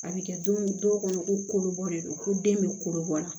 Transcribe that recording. A bɛ kɛ don min dɔw kɔnɔ ko kolobɔ de don ko den bɛ kolo bɔ la